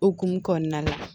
Okumu kɔnɔna la